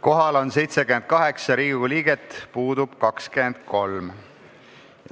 Kohal on 78 Riigikogu liiget, puudub 23.